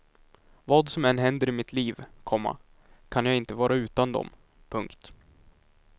Vad som än händer i mitt liv, komma kan jag inte vara utan dom. punkt